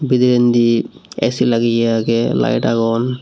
bidirendi esi lageye agey arow layit agon.